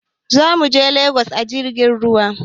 Za muje Legas a jirgin ruwa.